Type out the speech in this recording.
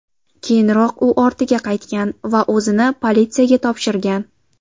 Keyinroq u ortiga qaytgan va o‘zini politsiyaga topshirgan.